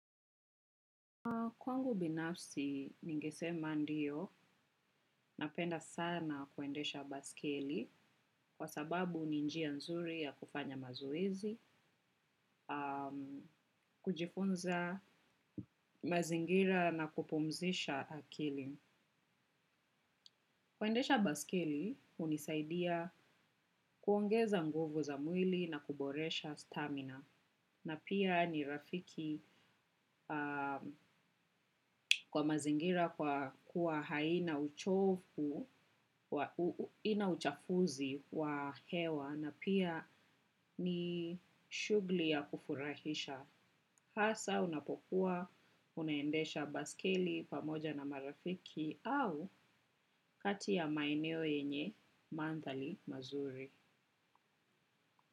Mimi binafsi ningesema ndio napenda sana kuendesha baisikeli kwa sababu ni njia nzuri ya kufanya mazoezi, kujifunza mazingira na kupumzisha akili. Kuendesha baisikeli, hunisaidia kuongeza nguvu za mwili na kuboresha stamina na pia ni rafiki kwa mazingira kuwa haina uchovu, ina uchafuzi wa hewa na pia ni shughuli ya kufurahisha. Hasa unapokuwa, unaendesha baisikeli pamoja na marafiki au kati ya maeneo yenye maandhari mazuri.